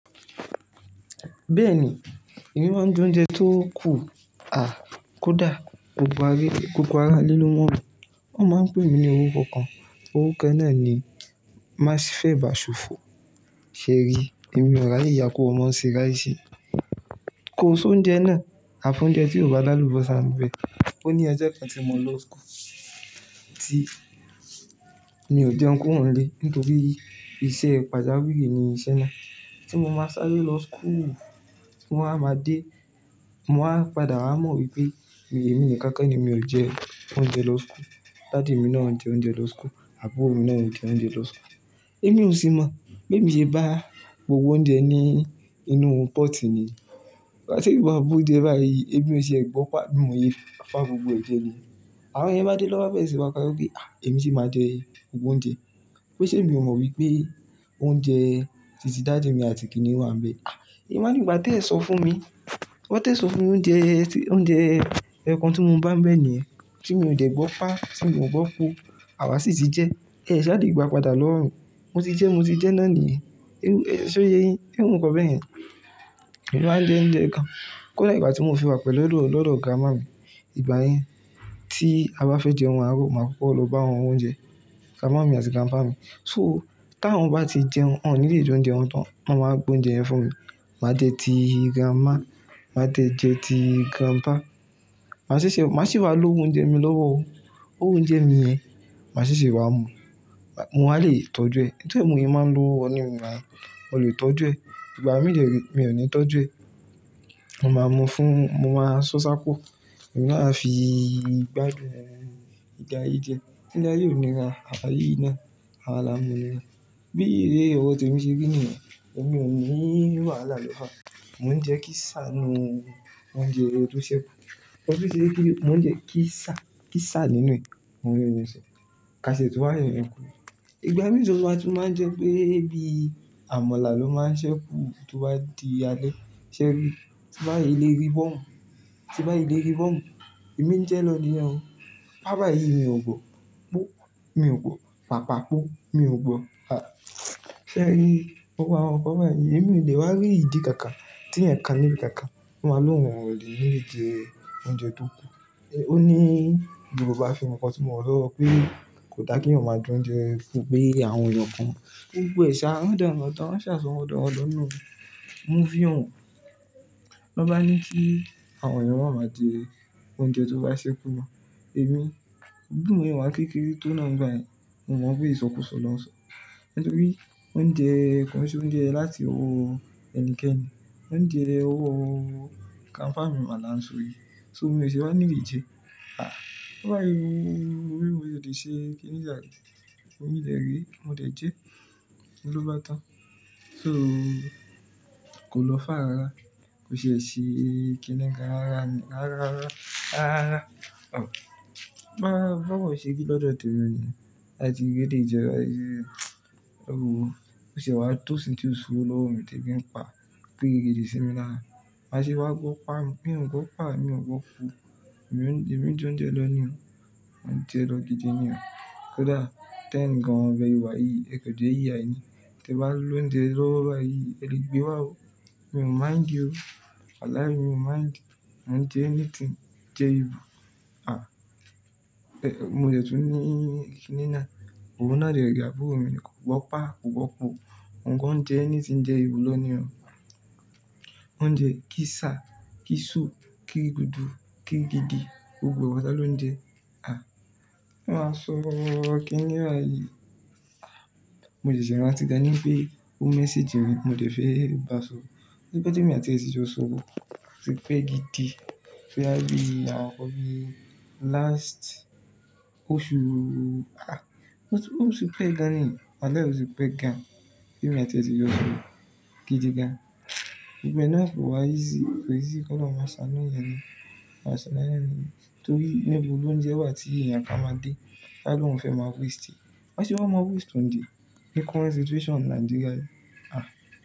Bẹ́ẹ̀ni, emí maá ń jẹ oúnjẹ tó kù, à kódà gbogbo ará lílọ́ mọ́ ọ, wọ́n máa ń pè mí ní orúkọ kan. Orúkọ náà ni Masif ebàṣòfo. Sẹ́ẹ́rì, èmi ò ráyè iyá ku ọmọ ṣe ráisi. Ko so oúnjẹ náà, àfóúnjẹ tí ò bá dárúbọ̀ sán bẹ. Ó ní ọjọ́ kan tí mo lọ school, tí mi ò jẹun kúrò nílé nítorí iṣẹ́ pàjáwìrì ní iṣẹ́ náà. Tí mo máa sáré lọ school, tí mo á máa dé, mo máa padà mọ̀ wípé èmi ni kankan ni mi ò jẹ oúnjẹ lọ school. Daddy mi náà jẹ oúnjẹ lọ school, àbúrò mi náà jẹ oúnjẹ lọ school. Èmi ò sì mọ̀ pé èmi ṣe bá gbogbo oúnjẹ ní inú pot ni. Gbáti'emi ìgbà gbó oúnjẹ báyìí, èmi ò ṣe gbọ́pà, mi ò ye fá gbogbo ẹ̀jẹ̀ ni. Àwọn yen bá dé lọ́wan bere sin máa pariwo pe "à, èmi sì máa jẹ gbogbo oúnjẹ." Pe ṣe mi ò mọ̀ wípé oúnjẹ tìtí daddy mi àti kíni wá ń bẹ. À, èmi wáa ní ìgbà tí ẹ sọ fún mi. Wọ́n tẹ̀ sọ fún mi oúnjẹ, oúnjẹ kan tí mo bá ń bẹ ni, tí mi ò tẹ̀ gbọ́ pa, tí mo gbọ́ po, àwa sì ti jẹ, ẹ ṣá ti gba padà lọ́run. Mo ti jẹ, mo ti jẹ náà niyen. Ṣé o yé yin? Irù kan bẹ́ẹ̀ yen. Òun á jẹ oúnjẹ kan. Kódà ìgbà tí mo fi wà pẹ̀lú lọ́dọ̀ grandma mi, ìgbà yẹn tí a bá fẹ́ jẹ ohun àárọ̀, màá koko lọ bá wọn w'oúnjẹ, grandma mi àti grandpa mi. So, tí àwọn bá ti jẹun, wọ́n ní lè jẹ oúnjẹ wọn tán, wọ́n máa gbé oúnjẹ yẹn fún mi. Màá je ti grandma, màá dẹ́ jẹ́ ti grandpa. Màá sì ṣe, màá sì wá lo oúnjẹ mi lọ́wọ́. Óun owo oúnjẹ mi yẹn, màá se ṣe wá mu. Mo wa lè tọ́jú ẹ̀. Nítorí èmi máa ń lo wọ́nùú mi wá, mo lè tọ́jú ẹ̀. Ìgbà mìí de re mí ò ní tọ́jú ẹ̀. Mo máa mu fún, mo máa ṣọ́ṣá po. Èmi na'afii gbádùn ìjà ye díẹ̀. Ilé aye óò níra, àwa yìí náà, àwa la mu níra. Bí èrè ọrọ́ te mi ṣe rí nìyẹn, èmi ò ní wàhálà lọ́wọ́. Mo ń jẹ kisa nù, ońjẹ to ṣẹ́ ku. Ọ̀rọ̀ bíi kíni, mo ń jẹ kisa, kisa nínú ẹ̀, mo ń jẹun ṣe. Kàsẹ̀ tu wa yoyẹn kù. Ìgbà mìíràn tí wọ́n máa ń jẹ pé bí amọ̀là ló máa ṣẹ́ kú, tí wọ́n bá di alẹ́, ṣé rí, tí wọ́n bá yé lérí bọ́mú, tí wọ́n bá yé lérí bọ́mú, èmi ń jẹun lọ nílẹ̀ o. Baba yìí mi ò gbọ́, mi ò gbọ́, pàpàá kú, mi ò gbọ́. Sẹ́ rí, gbogbo àwọn ǹkan báyìí, èmi ò dè wá rí ìdí kankan tí ẹ̀kan ní kankan máa ń lo ohun ọ̀ nílé jẹ oúnjẹ tó kù. Ó ní Yorùbá film kan tí mo wo to so pé kò dá kí ènìyàn máa jẹ oúnjẹ fún pé àwọn ènìyàn kan gbogbo ẹ̀ ṣà, ran dán ran dán, wọ́n ṣà so ran dan ran dan. Mo fi òun. Tán bá ní kí àwọn ènìyàn má máa jẹ oúnjẹ tó bá ṣẹ́ kú mo. Èmi, bí mo ṣe wá kékeré tó náà nígbà yẹn, mo mọ̀ pé ìṣọkùnsọ lọ́sọ̀ọ́. Nítorí oúnjẹ kò kì í ṣe oúnjẹ láti owó ẹnikẹ́ni. Oúnjẹ ọwọ grandpa mi máa la ń sọ yí. So, mi o ṣe wá nílé jẹ. À, bá yé mi, owó mi ò tẹ̀ ṣe kíni láti, owó mi lè rí, mo tẹ̀ jẹ́, mo ló bá tán. So, kò lọ́ far rara, kò ṣe ṣe kíni kan rara ni, rara, rara, rara, rara. Òun bá, bá wọ̀ ṣe rí lọ́dọ̀ tẹ̀mi ni, láti gídí jẹ bá yí. Òun ò ṣe wá tò isín ti o s'owó lowo mi tí ebí n pa, pa gídí sí mi lára. Màṣe wá gbọ́ pà mi. Mi ò gbọ́vpà, mi ò gbọ́ po. Èmi ń jẹ oúnjẹ lọ ní o. Mo ń jẹ lo gidi ní o. Kódà t'eyin gan bi e se wa yìí, ẹ̀kọ̀jẹ́ ìyà yìí ni. Tí ẹ bá lo oúnjẹ lọ́wọ́ báyìí, ẹ lè gbé wá o. Mi ò mind o. Walahi mi ò mind. Mo ń jẹ anything jẹ able. À, mo le tún ní kiní nà. Òun náà de rẹ̀ àbúrò mi ni, kò gbọ́pà, kò gbọ́ po. Òun gan jẹ anything jẹ able lọ ní o. Oúnjẹ kisa, kisu, kirigudu, kigidi, gbogbo e patá ló ń jẹ. À, mo máa sọ kíni báyìí. Mo ṣẹ̀ṣẹ̀ rántí gan ni pé o mẹ́ssage mi, mo dẹ̀ fẹ́ bà sọ̀rọ̀. Ó ti pẹ́ tí èmi àti ẹ ti jọ sọ̀rọ̀, ó ti pẹ́ gidi. Bo ya bí àwọn ǹkan bi last oṣù, à, ọ̀ti pé gan ni. Walahi oti pé gan. Èmi àti è ti jọ sọ̀rọ̀. Gidi gan. Gbogbo e náà kò wá easy, kọ́ easy k'ọ́lọ́run máa ṣàanu ènìyàn ni. Màṣe máa ṣe lónìyẹn ni. Nítorí níbo lo oúnjẹ wà tí ènìyàn kán máa dé? Ta lọ́ fẹ́ máa waste ẹ́. Màṣe wá máa waste oúnjẹ, ní current situation Nigeria yi. À.